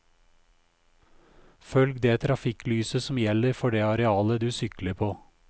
Følg det trafikklyset som gjelder for det arealet du sykler på.